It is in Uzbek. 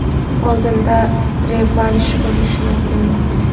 Oldinda revansh bo‘lishi mumkinmi?